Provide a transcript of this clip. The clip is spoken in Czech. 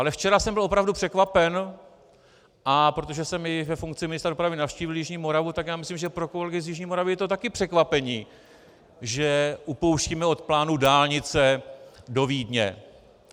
Ale včera jsem byl opravdu překvapen, a protože jsem i ve funkci ministra dopravy navštívil jižní Moravu, tak já myslím, že pro kolegy z jižní Moravy je to taky překvapení, že upouštíme od plánu dálnice do Vídně.